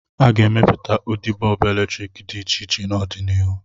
A ga-emepụta ụdị bọọbụ eletrik dị iche iche n'ọdịnihu.